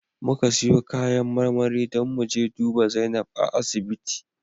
Muka siyo kayan marmari don mu je duba Zainab a asibiti